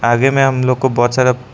आगे में हमलोग को बहुत सारा--